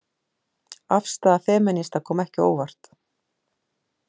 Afstaða femínista kom ekki á óvart